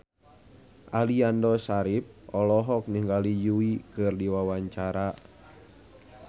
Aliando Syarif olohok ningali Yui keur diwawancara